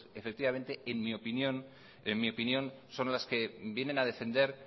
pues efectivamente en mi opinión son las que vienen a defender